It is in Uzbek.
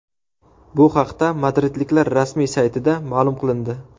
Bu haqda madridliklar rasmiy saytida ma’lum qilindi .